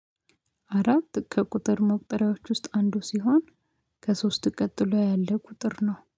አራት ከቁጥር መቁጠሪያዎች ውስጥ አንዱ ሲሆን ከሶስት ቀጥሎ ያለ ቁጥር ነው።